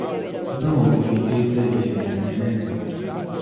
Nũũ ũhithĩte ihenya inene?